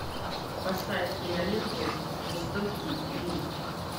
поставь киноленту жестокий ринг